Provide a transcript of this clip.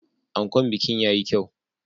Ankon bikin ya yi kyau.